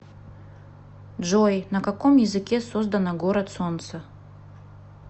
джой на каком языке создано город солнца